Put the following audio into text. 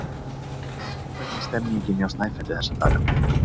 Hvernig er stemmningin hjá Snæfelli þessa dagana?